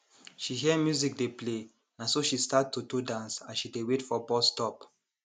she hear music dey play naso she start to to dance as she dey wait for bus stop